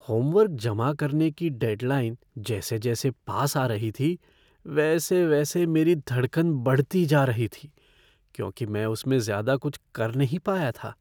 Homework जमा करने की डेडलाइन जैसे जैसे पास आ रही थी वैसे वैसे मेरी धड़कन बढ़ती जा रही थी क्योंकि मैं उसमें ज्यादा कुछ कर नहीं पाया था।